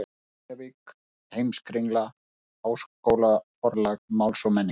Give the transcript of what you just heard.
Reykjavík: Heimskringla- Háskólaforlag Máls og menningar.